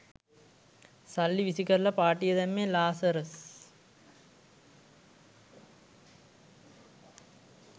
සල්ලි විසි කරලා පාටිය දැම්මේ ලාසරස්.